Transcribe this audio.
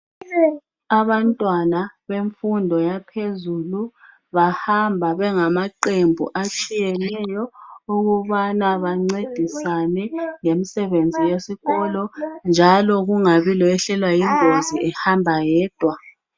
Abantwana bemfundo yaphezulu bahamba bengamaqembu atshiyeneyo okubana bancedisane ngemisebenzi yesikolo njalo kungabi loyehlelwa yingozi ehamba yedwa.